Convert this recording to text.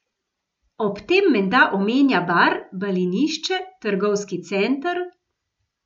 Ob tem menda omenja bar, balinišče, trgovski center...